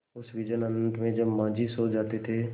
उस विजन अनंत में जब माँझी सो जाते थे